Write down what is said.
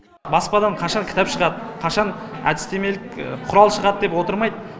баспадан қашан кітап шығады қашан әдістемелік құрал шығады деп отырмай